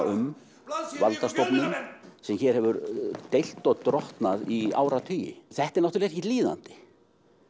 um valdastofnun sem hér hefur deilt og drottnað í áratugi þetta náttúrulega er ekkert líðandi